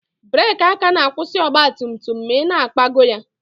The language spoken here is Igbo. Breeki aka na-akwụsị ọgba tum tum ma ị na-ịkpagọọ ya